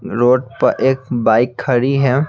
Road पर एक bike खड़ी है।